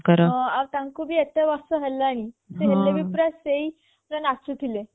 ଆଉ ତାଙ୍କୁ ବି ଏତେ ବର୍ଷ ହେଲାଣି ସେ ଏବେବି ପୁରା ସେଇ ନାଚୁ ଥିଲେ